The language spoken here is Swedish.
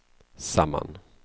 samman